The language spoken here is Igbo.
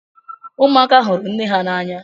Ụmụaka hụrụ nne ha n'anya.